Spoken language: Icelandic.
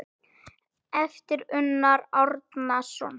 eftir Unnar Árnason